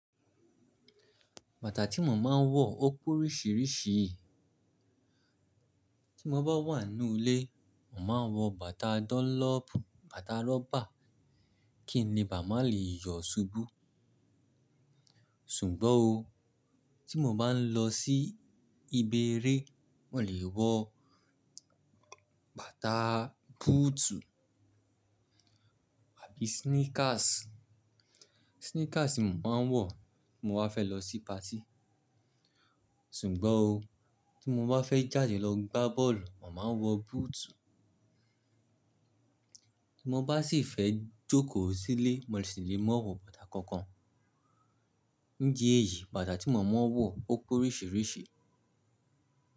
Bàtà tí mo máa ń wọ ó pé oríṣiríṣi. Tí mo bá wà n nú ilé, mo màá ń wọ bàtà dọ́nlọ́ọ̀pù, bàtà rọ́bà kí n le bà má lè yọ ṣubú. Ṣùgbọ́n òó, tí mo bá ń lọ sí ibi eré, mo lè wọ bàtà búùtù àbí sneakers. Sneakers ni mo máa ń wọ tí mo bá fẹ́ lọ sí patí. Ṣùgbọ́n òó, tí mo bá fẹ́ jáde lọ gbá bọ́ọ̀lù, mo màá ń wọ búùtù. Tí mo bá sì fẹ́ jókòó sílé, mo sì lè máa wọ bàtà kankan. Ǹdi èyí, bàtà tí mo máa ń wọ ó pé oríṣiríṣi.